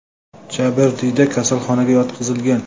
Jabrdiyda kasalxonaga yotqizilgan.